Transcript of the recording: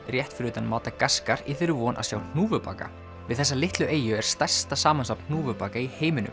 rétt fyrir utan madagaskar í þeirri von að sjá hnúfubaka við þessa litlu eyju er stærsta samansafn hnúfubaka í heiminum